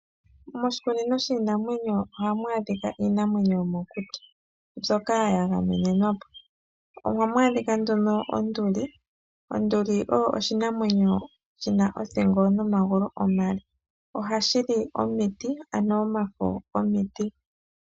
Moshikunino shiinamwenyo ohamu adhika iinamwenyo yomokuti ndyoka yagamenwa. Ohamu adhika onduli, oyo oshimwenyo shina othingo nomagulu omale, ohashi li omiti ano omafo gomiti.